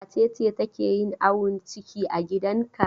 Wace ce take yin awon ciki a gidanka?